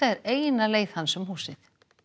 er eina leið hans um húsið